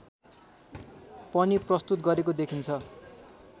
पनि प्रस्तुत गरेको देखिन्छ